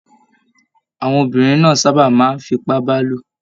Àwọn obìnrin na sábà máa n f'ipabalo.